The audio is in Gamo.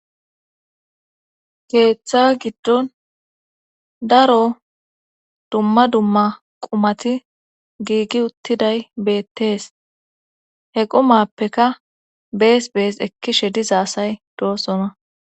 keeththa giddon daro dumma dumma qumati giigi uttiday beettees he qumappeka bees bees ekkishe dizhaasay doosona